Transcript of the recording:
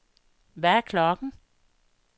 Hvad er klokken